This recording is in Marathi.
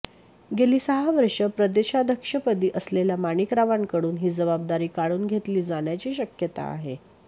गेली सहा वर्षं प्रदेशाध्यक्षपदी असलेल्या माणिकरावांकडून ही जबाबदारी काढून घेतली जाण्याची शक्यता आहे